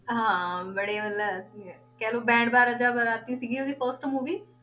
ਹਾਂ ਬੜੇ ਮਤਲਬ ਕਹਿ ਲਓ ਬੈਂਡ ਬਾਜ਼ਾ ਬਾਰਾਤੀ ਸੀਗੀ ਉਹਦੀ first movie